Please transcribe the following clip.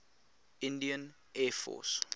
indian air force